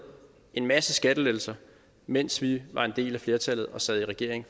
en masse skattelettelser mens vi var en del af flertallet og sad i regering